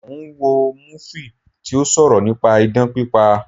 Mo ń wo múfì tí ó sọ̀rọ̀ nípa idán pípa